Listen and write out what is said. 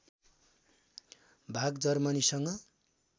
भाग जर्मनीसँग